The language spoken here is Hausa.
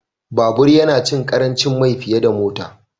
Babur yana cin ƙarancin mai fiye da Mota